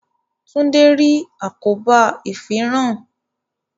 Tunde rí àkóbá ifinran